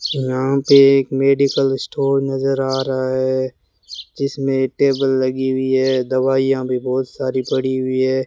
यहां पे एक मेडिकल स्टोर नजर आ रहा है जिसमें टेबल लगी हुई है दवाइयां भी बहोत सारी पड़ी हुई है।